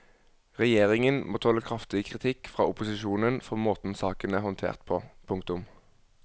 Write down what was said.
Regjeringen må tåle kraftig kritikk fra opposisjonen for måten saken er håndtert på. punktum